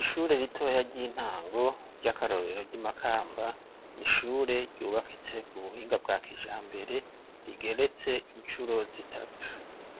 Ishure ritoya ry'intango, ry'akarorero, ry'i Makamba, ni ishure ryubakitse ku buhinga bwa kijambere, rigeretse incuro zitatu;